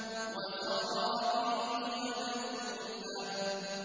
وَزَرَابِيُّ مَبْثُوثَةٌ